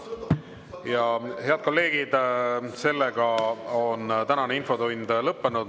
Ja, head kolleegid, sellega on tänane infotund lõppenud.